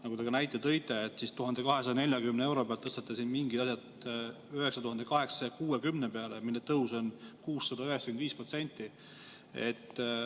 Nagu te ka näite tõite, te tõstate mingid lõivud 1240 euro pealt 9860 peale, nii et tõus on 695%.